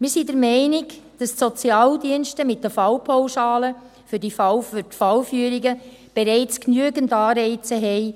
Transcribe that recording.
Wir sind der Meinung, dass die Sozialdienste mit den Fallpauschalen für die Fallführungen bereits genügend Anreize haben,